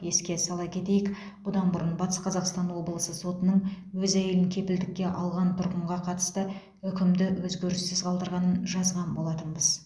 еске сала кетейік бұдан бұрын батыс қазақстан облысы сотының өз әйелін кепілдікке алған тұрғынға қатысты үкімді өзгеріссіз қалдырғанын жазған болатынбыз